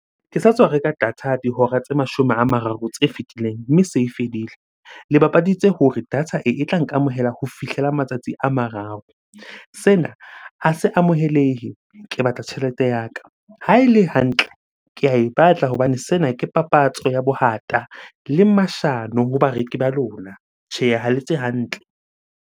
Ke sa tswa reka data dihora tse mashome a mararo tse fitileng mme se e fedile. Le bapaditse hore data e, e tla nkamohela ho fihlela matsatsi a mararo. Sena a se amohelehe, ke batla tjhelete ya ka. Ha ele hantle ke ae batla hobane sena ke papatso ya bohata le mashano ho bareki ba lona. Tjhe, ha le etse hantle.